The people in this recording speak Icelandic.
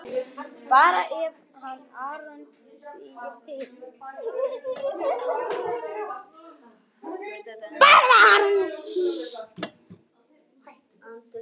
Bara eftir eyranu.